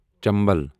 چنبل